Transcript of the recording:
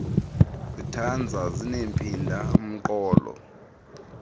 zitanza zinempinda mqolo